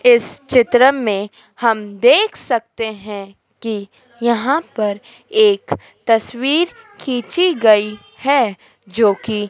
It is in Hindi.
इस चित्र में हम देख सकते हैं कि यहाँ पर एक तस्वीर खींची गई है जो कि --